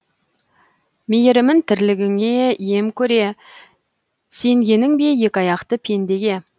мейірімін тірлігіңе ем көре сенгенің бе екі аяқты пендеге